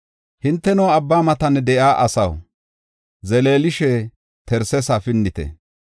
Hinteno abba matan de7iya asaw, zeleelishe Tarsesa pinnite.